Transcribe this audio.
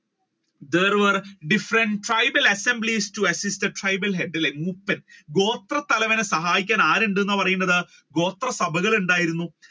there was different tribal assembly to assist the tribal head അല്ലെ മൂപ്പൻ അല്ലെ ഗോത്ര തലവനെ സഹായിക്കാൻ ആരുണ്ട് എന്നാണ് പറയുന്നത് ഗോത്ര സഭകൾ ഉണ്ടായിരുന്നു